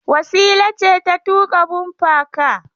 Wasila ce ta tuƙa bumper car.